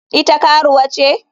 Ita karuwa ce?